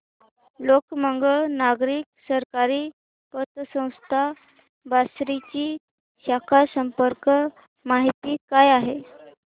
लोकमंगल नागरी सहकारी पतसंस्था बार्शी ची शाखा संपर्क माहिती काय आहे